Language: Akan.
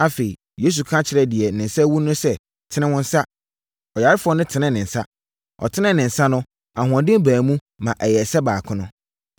Afei, Yesu ka kyerɛɛ deɛ ne nsa awu no sɛ, “Tene wo nsa!” Ɔyarefoɔ no tenee ne nsa. Ɔtenee ne nsa no, ahoɔden baa mu ma ɛyɛɛ sɛ baako no.